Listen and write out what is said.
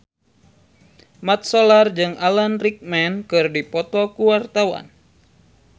Mat Solar jeung Alan Rickman keur dipoto ku wartawan